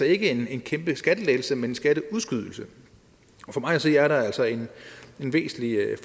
ikke en kæmpe skattelettelse men en skatteudskydelse og for mig at se er der altså en væsentlig